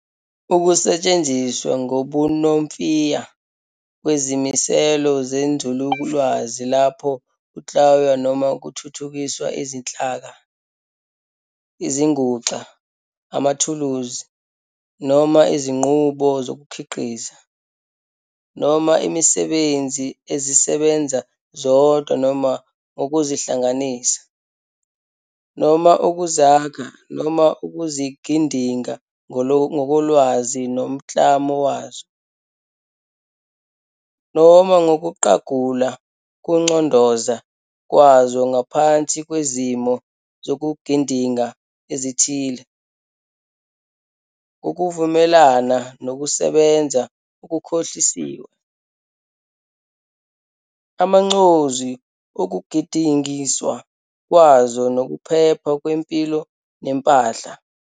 Ukusetshenziswa ngobunomfiya kwezimiselo zenzululwazi lapho kuklanywa noma kuthuthukiswa izinhlaka, izinguxa, amathuluzi, noma izinqubo zokukhiqiza, noma imisebenzi ezisebenza zodwa noma ngokuzihlanganisa, noma ukuzakha noma ukuzigidinga ngokolwazi lomklamo wazo, noma ngokuqagula ukucondoza kwazo ngaphansi kwezimo zokugidinga ezithile, ngokuvumelana nokusebenza okuhlosiwe, amancozu wokugidingwa kwazo nokuphepha kwempilo nempahla.